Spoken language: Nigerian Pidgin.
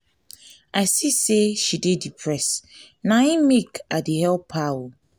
i see sey she dey depressed na im make i dey help her.